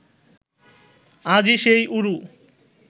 আজি সেই ঊরু